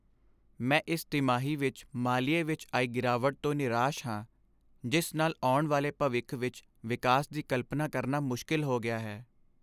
ਮੈਂ ਇਸ ਤਿਮਾਹੀ ਵਿੱਚ ਮਾਲੀਏ ਵਿੱਚ ਆਈ ਗਿਰਾਵਟ ਤੋਂ ਨਿਰਾਸ਼ ਹਾਂ, ਜਿਸ ਨਾਲ ਆਉਣ ਵਾਲੇ ਭਵਿੱਖ ਵਿੱਚ ਵਿਕਾਸ ਦੀ ਕਲਪਨਾ ਕਰਨਾ ਮੁਸ਼ਕਲ ਹੋ ਗਿਆ ਹੈ।